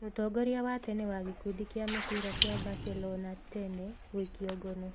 Mũtongoria wa tene wa gĩkundi kĩa mũbira kĩa Barcelonatene gũikio ngono